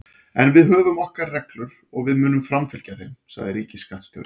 En við höfum okkar reglur og við munum framfylgja þeim, sagði ríkisskattstjóri